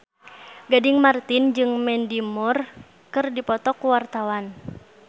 Gading Marten jeung Mandy Moore keur dipoto ku wartawan